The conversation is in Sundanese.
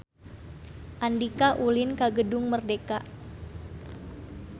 Andika ulin ka Gedung Merdeka